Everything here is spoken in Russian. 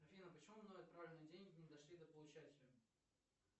афина почему мною отправленные деньги не дошли до получателя